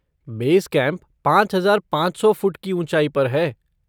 Base camp पाँच हज़ार पाँच सौ फ़ुट की ऊँचाई पर है।